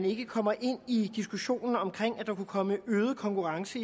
ikke kommer ind i diskussionen om at der kunne komme øget konkurrence